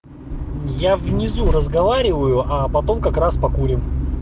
я внизу разговариваю а потом как раз покурим